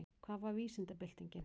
Hvað var vísindabyltingin?